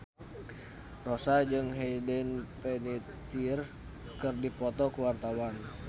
Rossa jeung Hayden Panettiere keur dipoto ku wartawan